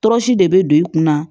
Tɔɔrɔsi de bɛ don i kunna